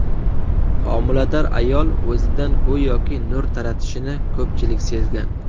Homilador ayol o‘zidan go‘yoki nur taratishini ko‘pchilik sezgan.